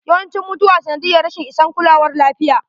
Yawancin mutuwan sanadiyyar rashin isan kulawar lafiya.